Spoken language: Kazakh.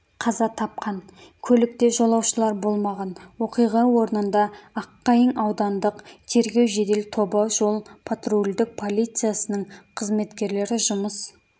қаза тапқан көлікте жолаушылар болмаған оқиға орнында аққайың аудандық тергеу-жедел тобы жол-патрульдік полициясының қызметкерлері жұмыс